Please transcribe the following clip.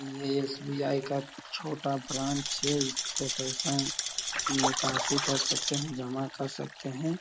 ये एस.बी.आई. का छोटा ब्रांच है। इससे पैसा निकासी कर सकते हैं जमा कर सकते हैं।